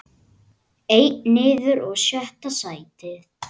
Einn niður og sjötta sætið.